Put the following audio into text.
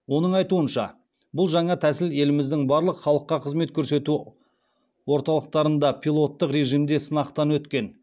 оның айтуынша бұл жаңа тәсіл еліміздің барлық халыққа қызмет көрсету орталықтарында пилоттық режімде сынақтан өткен